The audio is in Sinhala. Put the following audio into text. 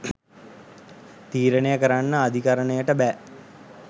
තීරණය කරන්න අධිකරණයට බෑ.